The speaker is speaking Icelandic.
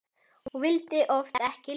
Og vildi oft ekki lifa.